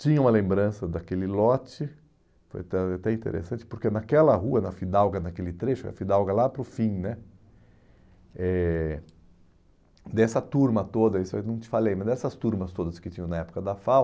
Tinha uma lembrança daquele lote, foi até até interessante, porque naquela rua, na Fidalga, naquele trecho, a Fidalga lá para o fim né, eh dessa turma toda, isso aí eu não te falei, mas dessas turmas todas que tinham na época da FAU,